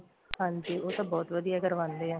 ਹਾਂਜੀ ਉਹ ਤਾਂ ਬਹੁਤ ਵਧੀਆ ਕਰਵਾਂਦੇ ਏ